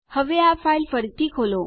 હવે આ ફાઈલ ફરીથી ખોલો